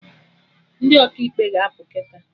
Ndị Ọkaikpe ga-apụ kịta